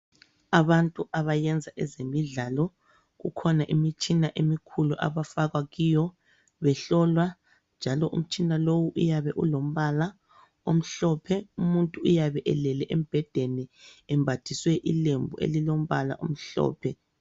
Abantu abayenza ezemidlalo, kukhona imitshina emikhulu abafakwa kiyo behlolwa njalo umtshina lowu uyabe ulombala omhlophe. Umuntu uyabe elele embhededni embathiswe ilembu elilombala omhlophe.